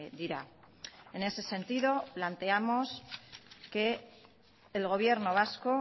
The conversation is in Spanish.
dira en ese sentido planteamos que el gobierno vasco